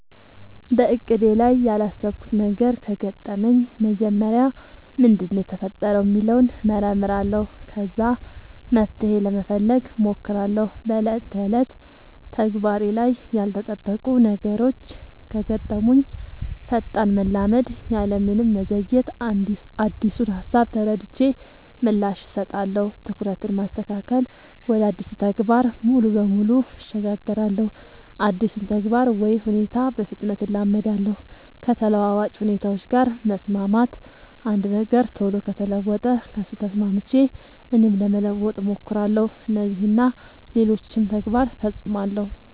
በእቅዴ ላይ ያላሰብኩት ነገር ከገጠመኝ መጀመሪያ ምንድነው የተፈጠረው ሚለውን እመረምራለሁ ከዛ መፍትሄ ለመፈለግ ሞክራለው በ ዕለት ተዕለት ተግባሬ ላይ ያልተጠበቁ ነገሮች ከገጠሙኝ ፈጣን መላመድ ያለምንም መዘግየት አዲሱን ሃሳብ ተረድቼ ምላሽ እሰጣለሁ። ትኩረትን ማስተካከል ወደ አዲሱ ተግባር ሙሉ በሙሉ እሸጋገራለሁ አዲሱን ተግባር ወይ ሁኔታ በፍጥነት እላመዳለው። ከተለዋዋጭ ሁኔታዎች ጋር መስማማት አንድ ነገር ቶሎ ከተለወጠ ከሱ ተስማምቼ እኔም ለመለወጥ ሞክራለው። እነዚህን እና ሌሎችም ተግባር ፈፅማለው።